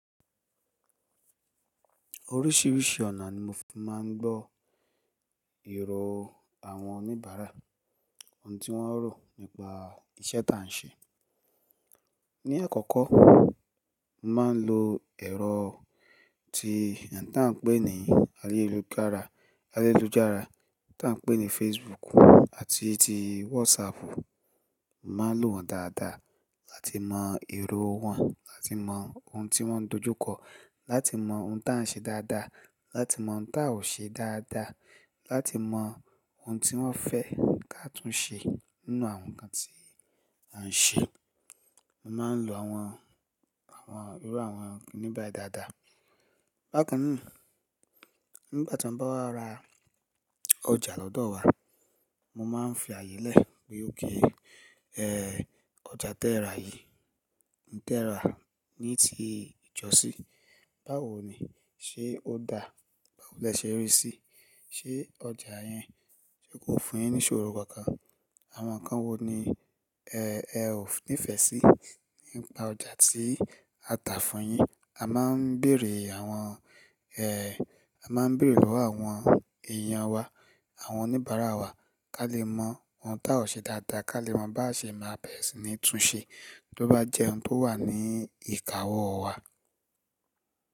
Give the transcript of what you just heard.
Oríṣìíríṣìí ọ̀nà ni mo fi máa ń gbọ́ èrò àwọn oníbàárà, ohun tí wọ́n ń rò nípa iṣẹ́ táà ń ṣe. Ni àkọ́kọ́, màá ń lo ẹ̀rọ tí àń pé ní ayélujára, tí àń pé ní Facebook àti ti WhatsApp. Màá lò wọ́n dáadáa láti mọ èrò wọn, láti mọ ohun tí wọ́n dojú kọ, láti mọ ohun táà ń ṣe dáadáa, láti mọ ohun tá a ò ṣe dáadáa, láti mọ ohun tí wọ́n fẹ́ ká tún ṣe nínú àwọn nǹkan tí à ń ṣe. Mo máa ń lo àwọn, àwọn irú àwọn kinni bai dáadáa. Bákan náà, nígbà tí ọ̀nba wa ra ọjà lọ́dọ̀ wa, mo máa ń fi àyè lẹ̀ wípé ókè, ẹ́, ọjà tẹ́ẹ́rà yìí ń tẹ́ẹ́rà ní ti ìjọ sí, báwo ni? Ṣé ó dà? Báwo lẹ ṣe rí í sí? Ṣé ọjà yẹn ṣe kò fún yín ní ìṣòro kankan? Àwọn nǹkan wo ni, ẹ́, ẹ ò nífẹ̀ẹ́ sí nípa ọjà tí a tà fún un yín? A máa ń bèrè àwọn, ẹ́, a máa ń bèrè lọ́wọ́ àwọn èèyàn wa, àwọn oníbàárà wa ká lè mọ ohun tá a ò ṣe dáadáa, ká lè mọ bá ṣe máa bẹ̀ ẹ́ sí ní tún ṣe bí ó bá jẹ́ ohun tó wà ní ìkáwọ́ wa.